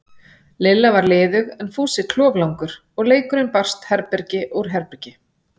Lilla var liðug en Fúsi kloflangur, og leikurinn barst herbergi úr herbergi.